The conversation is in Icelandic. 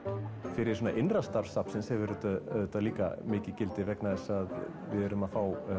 fyrir svona innra starf safnsins hefur þetta auðvitað líka mikið gildi vegna þess að við erum að fá